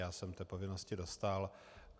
Já jsem té povinnosti dostál.